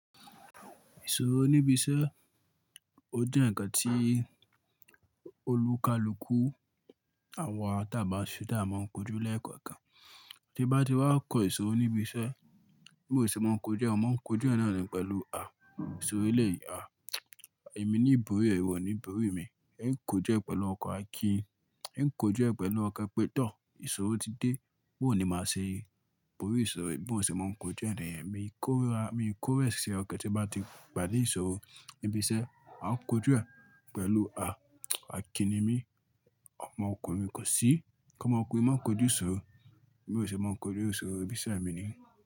Ìṣòro níbi iṣẹ́, ó jẹ́ ǹnkan tí olùkalùkù àwa tẹ́ ba ṣe dá máa ń kojú lẹ́ẹ̀kọ̀kan. Tí bá ti wá kọ ìṣòro níbi iṣẹ́, mi ò ṣe máa ń kojú ẹ̀, màá ń kojú ẹ̀ náà nì pẹ̀lú àà. Ìṣòro elẹ̀yìí a, èmi ní ìbòrí rẹ̀, ìwọ o ní ìbòrí mi. Ẹ ń kojú ẹ̀ pẹ̀lú ọkọ̀ Akin, ẹ̀ ń kojú ẹ̀ pẹ̀lú ọkan pé, tọ́ ìṣòro ti dé, bó ní máa ṣe rí ìbòrí ìṣòro yìí bí mò ṣe máa ń kojú ẹ̀ níyẹ̀n. Mi kórà, mi kórẹ̀wẹ̀sí ọkan tí bá ti pade ìṣòro níbi iṣẹ́, màá kojú ẹ̀ pẹ̀lú a. Akin ni mí, ọmọ ọkùnrin mi kò sí. Kọ́mọ ọkùnrin máa ń kojú ìṣòro, bi mò ṣe máa ń kojú ìṣòro níbi iṣẹ́ mi ni.